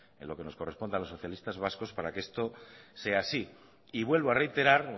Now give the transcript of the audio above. en lo que nos corresponde a los socialistas vascos para que esto sea así y vuelvo a reiterar